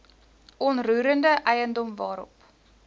onroerende eiendom waarop